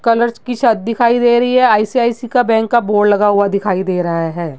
Colours की छत दिखाई दे रही है। आई.सी.आई.सी. का बैंक का बोर्ड लगा हुआ दिखाई दे रहा है।